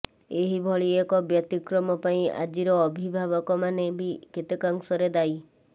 ଏହିଭଳି ଏକ ବ୍ୟତିକ୍ରମ ପାଇଁ ଆଜିର ଅବିଭାବକମାନେ ବି କେତେକାଂଶ ରେ ଦାୟୀ